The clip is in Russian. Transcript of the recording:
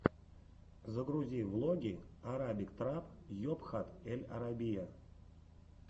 загрузи влоги арабик трап йобхат эль арабия